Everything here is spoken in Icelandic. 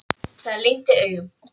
Það lygndi augum.